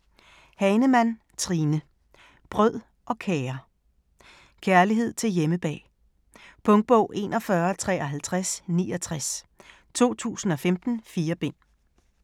Hahnemann, Trine: Brød og kager Kærlighed til hjemmebag. Punktbog 415369 2015. 4 bind.